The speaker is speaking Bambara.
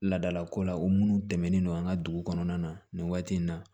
Ladalako la o minnu dɛmɛlen don an ka dugu kɔnɔna na nin waati in na